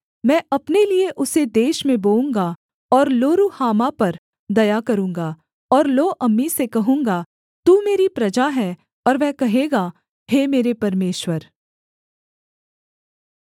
मैं अपने लिये उसे देश में बोऊँगा और लोरुहामा पर दया करूँगा और लोअम्मी से कहूँगा तू मेरी प्रजा है और वह कहेगा हे मेरे परमेश्वर